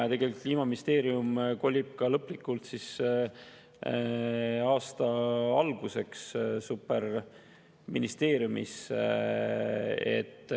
Ja tegelikult Kliimaministeerium kolib aasta alguseks lõplikult superministeeriumisse.